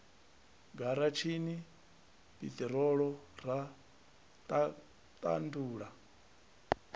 garatshini ya piṱirolo ra ṱandula